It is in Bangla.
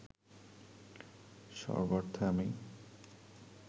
সর্বার্থে আমি